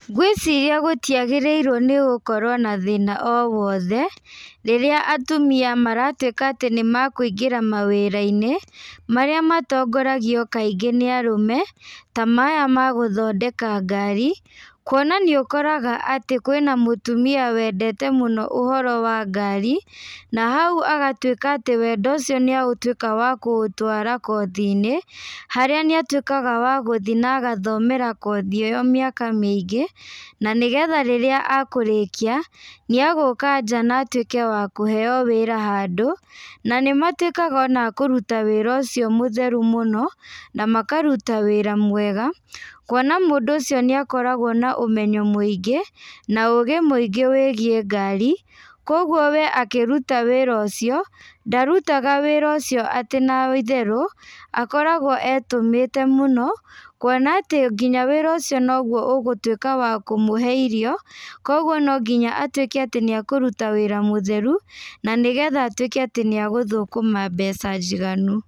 Ngwĩciria gũtiagĩrĩirwo nĩgũkorwo na thĩna o wothe, rĩrĩa atumia maratuĩka atĩ nĩmakũingara mawĩrainĩ, marĩa matongoragio kaingĩ nĩ arũme, ta maya magũthondeka ngari, kuona nĩũkoraga atĩ kwĩna mũtumia wendete mũno ũhoro wa ngari, na hau agatuĩka atĩ wendo ũcio nĩatuĩka wa kũutwara kothinĩ, harĩa nĩ atuĩkaga wa gũthiĩ na agathomera kothi ĩyo mĩaka mĩingĩ, na nĩgetha rĩrĩa akũrĩkia, nĩagũka nja na atuĩke wa kũheo wĩra handũ, na nĩmatuĩkaga ona akũruta wĩra ũcio mũtheru mũno, na makaruta wĩra mwega, kuona mũndũ ũcio nĩakoragwo na ũmenyo mũingĩ, na ũgĩ mũingĩ wĩgiĩ ngari, koguo we akĩruta wĩra ũcio, ndarutaga wĩra ũcio atĩ na itherũ, akoragwo etũmĩte mũno, kuona atĩ nginya wĩra ũcio noguo ũgũtuĩka wa kũmũhe irio, koguo nonginya atuĩke atĩ nĩakũruta wĩra mũtheru, na nĩgetha atuĩke atĩ nĩagũthũkama mbeca njiganu.